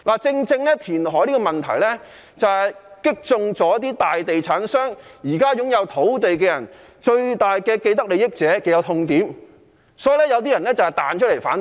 正正因為填海這個問題，擊中大地產商、現時擁有土地的最大既得利益者的痛點，所以有些人彈出來反對。